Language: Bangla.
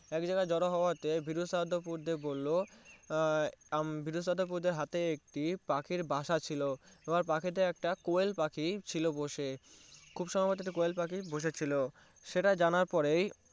একজায়গায় জোর হওয়াতে বিরু সাহাদ্দ বুড্ডে বললো বললো আহ বিদু স্বাদ বুদে হাতে একটি পাখি বাসা ছিল এবার পাখি তা কোয়েল পাখি ছিল বসে খুব সম্ভাব্য একটা কোয়েল পাখি বসে ছিল সেটা জানার পরেই